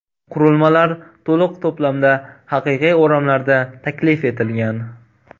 Qurilmalar to‘liq to‘plamda haqiqiy o‘ramlarda taklif etilgan.